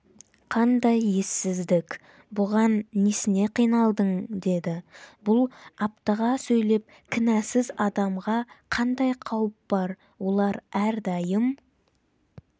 қандай ессіздік бұған несіне қиналдың деді бұл аптыға сөйлеп кінәсіз адамға қандай қауіп бар олар әрдайым